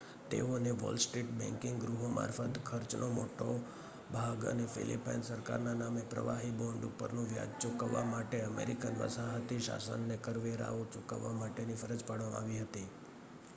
તેઓને Wall Street banking ગૃહો મારફત ખર્ચનો મોટો ભાગ અને ફીલીપાઈન સરકારના નામે પ્રવાહી બોન્ડ ઉપરનુ વ્યાજ ચુકવવા માટે અમેરિકન વસાહતી શાસનને કરવેરાઓ ચૂકવવા માટેની ફરજ પાડવામાં આવી હતી